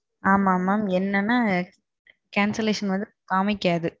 ஆமாம் mam என்னன்னா. cancellation வந்து காமிக்காது.